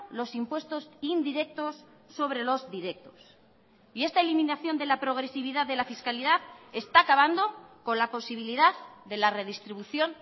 los impuestos indirectos sobre los directos y esta eliminación de la progresividad de la fiscalidad está acabando con la posibilidad de la redistribución